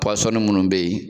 Puwasɔni minnu bɛ yen